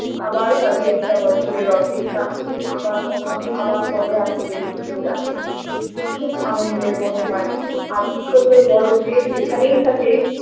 আবার ভাবি একটা বছরের অপেক্ষা আবার কখন আবার কবে আসবে এই পুজোটা খুব আনন্দের মনে হয় আর ছোটো বড়ো যে যেখানেই থাকে